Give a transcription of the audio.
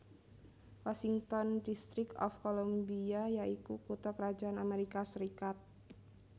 Washington District of Columbia ya iku kutha krajan Amérika Sarékat